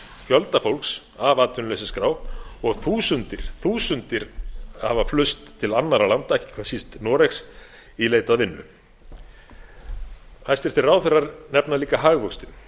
fjölda fólks af atvinnuleysisskrá og þúsundir hafa flust til annarra landa ekki hvað síst noregs í leit að vinnu hæstvirtir ráðherrar nefna líka hagvöxtinn